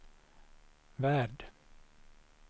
värld